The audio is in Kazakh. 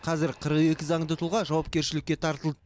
қазір қырық екі заңды тұлға жауапкершілікке тартылды